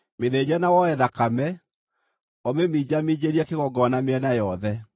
Mĩthĩnje na woe thakame, ũmĩminjaminjĩrie kĩgongona mĩena yothe.